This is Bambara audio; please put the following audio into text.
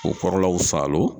K'o kɔrɔlaw saalo